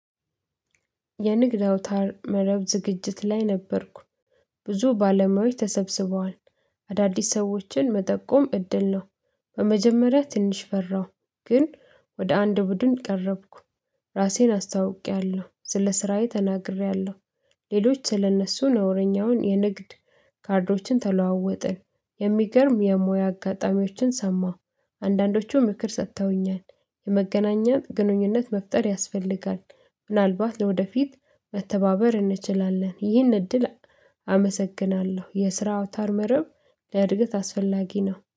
የንግድ አውታር መረብ ዝግጅት ላይ ነበርኩ። ብዙ ባለሙያዎች ተሰብስበዋል አዳዲስ ሰዎችን መጠቆም እድል ነው። በመጀመሪያ ትንሽ ፈራው ግን ወደ አንድ ቡድን ቀረብኩ። ራሴን አስታውቄያለሁ ስለ ስራዬ ተናግሬያለሁ። ሌሎች ስለእነሱ ነውረኛውን የንግድ ካርዶችን ተለዋወጥን። የሚገርም የሙያ አጋጣሚዎችን ሰማሁ አንዳንዶቹ ምክር ሰጥተውኛል የመገናኛ ግንኙነት መፍጠር ያስፈልጋል። ምናልባት ለወደፊት መተባበር እንችላለን ይህን እድል። አመሰግናለሁ። የስራ አውታር መረብ ለእድገት አስፈላጊ ነው